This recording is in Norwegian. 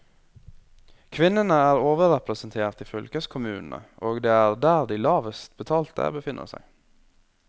Kvinnene er overrepresentert i fylkeskommunene, og det er der de lavest betalte befinner seg.